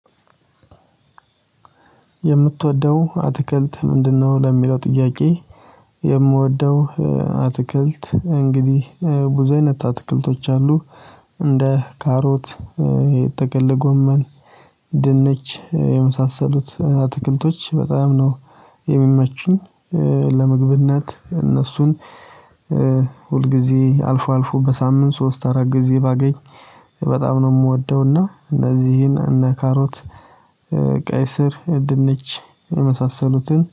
የምትወደው አትክልት ምንድነው? ለሚለው ጥያቄ። የምወደው አትክልት እንግዲህ ብዙ አይነት አትክልቶች አሉ። እንደ ካሮት የጥቅል ጎመን ድንች የመሳሰሉት አትክልቶች በጣም ነው የሚመቹኝ። ለምግብነት እነሱን ሁል ጊዜ አልፎ አልፎ በሳምንት ሶስት አራት ጊዜ ባገኝ በጣም ነው የምወደው። እና እነዚህን እነ ካሮት ቀይ ስር ድንች የመሳሰሉትን